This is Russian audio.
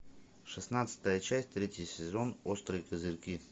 шестнадцатая часть третий сезон острые козырьки